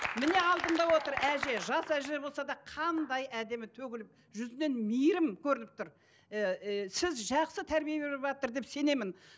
міне алдыңда отыр әже жас әже болса да қандай әдемі төгіліп жүзінен мейірім көрініп тұр ііі сіз жақсы тәрбие беріватыр деп сенемін